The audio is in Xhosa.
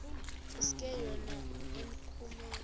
iske yona ekumkeni